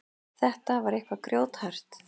Þetta var eitthvað grjóthart.